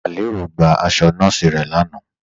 Alẹ́rọ̀ gba àṣọ̀ nọọ̀sí rẹ̀ láànà.